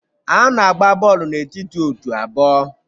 A na-agba bọọlụ n'etiti otu abụọ